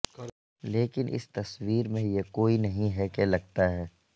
لیکن اس تصویر میں یہ کوئی نہیں ہے کہ لگتا ہے